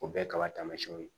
O bɛɛ kaba tamasiyɛnw ye